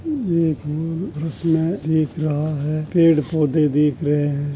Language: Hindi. ये एक दिख रहा है। पड़े-पौधे दीख रहे हैं।